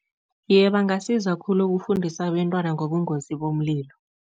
Iye, bangasiza khulu ukufundisa abentwana ngobungozi bomlilo.